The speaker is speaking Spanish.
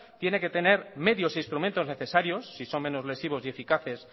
tiene que tener medios e instrumentos necesarios si son menos lesivos y eficaces